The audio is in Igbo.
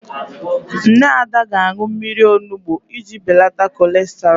Nne Ada ga-aṅụ mmiri onugbu iji beleta kọlesterọl.